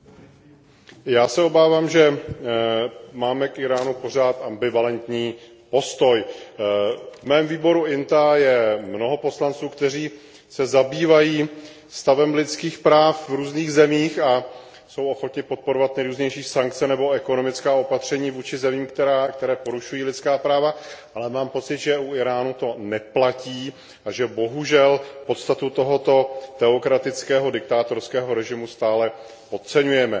Vážená paní předsedající, já se obávám, že máme k Íránu pořád ambivalentní postoj. V mém výboru INTA je mnoho poslanců, kteří se zabývají stavem lidských práv v různých zemích a jsou ochotni podporovat nejrůznější sankce nebo ekonomická opatření vůči zemím, které porušují lidská práva, ale mám pocit, že u Íránu to neplatí a že bohužel podstatu tohoto teokratického diktátorského režimu stále podceňujeme.